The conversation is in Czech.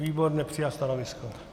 Výbor nepřijal stanovisko.